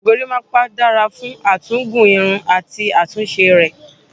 Gorímápá dára fún à tún gùn irun àti àtúnṣe rẹ̀.